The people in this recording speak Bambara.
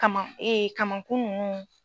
Kaman kamankun nun.